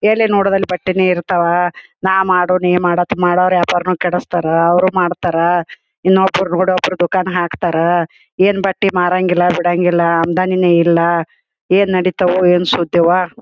ಎಲೆ ನೋಡುವುದಲ್ಲಿ ಬಟ್ಟೆನೆ ಇರ್ತವ ನಾ ಮಾಡು ನೀ ಮಾಡು ಅಂತ ಮಾಡೋರ್ ವ್ಯಾಪಾರನು ಕೆಡಿಸ್ತಾರಾ ಅವ್ರು ಮಾಡ್ತಾರಾ ಎನ್ನೊಬ್ಬರ್ ನೋಡ್ ಒಬ್ಬರ್ ದುಕನ್ ಹಾಕ್ತಾರ್ ಏನ್ ಬಟ್ಟೆ ಮರಂಗಿಲ್ಲ ಬಿಡಂಗಿಲ್ಲ ಅಮದಾನಿನೆ ಇಲ್ಲ ಏನ್ ನಡಿತವೋ ಏನ್ ಶುದ್ಧವೋ--